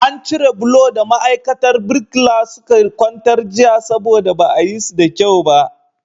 An cire bulo da ma'aikatan birkila suka kwantar jiya saboda ba a yi su da kyau ba.